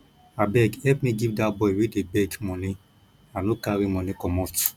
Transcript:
abeg help me give dat boy wey dey beg money i no carry money commot